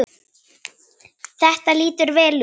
Þetta lítur vel út.